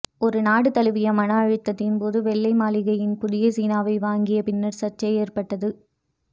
ஒரு நாடு தழுவிய மன அழுத்தத்தின் போது வெள்ளை மாளிகையின் புதிய சீனாவை வாங்கிய பின்னர் சர்ச்சை ஏற்பட்டது